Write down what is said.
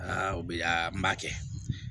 o bi laa n b'a kɛ